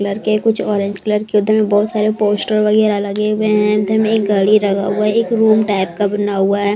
Colour के कुछ orange colour के उधर में बहुत सारे पोस्टर वगैरह लगे हुए हैं उधर में एक घड़ी लगा हुआ है एक रूम टाइप का बना हुआ है।